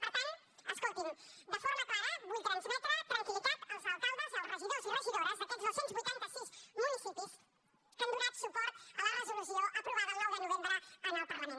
per tant escolti’m de forma clara vull transmetre tranquil·litat als alcaldes i als regidors i regidores d’aquests dos cents i vuitanta sis municipis que han donat suport a la resolució aprovada el nou de novembre en el parlament